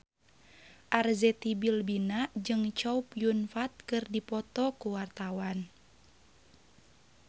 Arzetti Bilbina jeung Chow Yun Fat keur dipoto ku wartawan